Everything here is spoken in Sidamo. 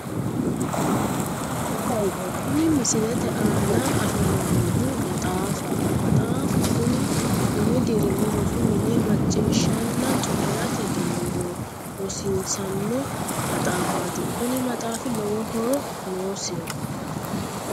Kuni misilete aana afamannohu maxaafaho maxaafu kuni umi dirimi rosi mine macciishshanna coyi'rate dandoo rrosiisanno maxaafaati kuni maxaafi lowo horo noosiho